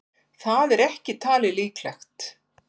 Það er ekki talið líklegt.